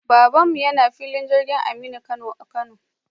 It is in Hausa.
Baban mu yana filin jirgin Aminu Kano a Kano